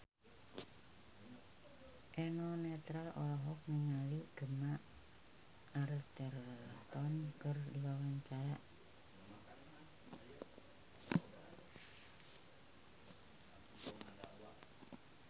Eno Netral olohok ningali Gemma Arterton keur diwawancara